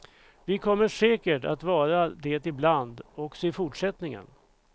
Vi kommer säkert att vara det ibland också i fortsättningen.